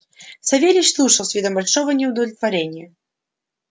савельич слушал с видом большого неудовольствия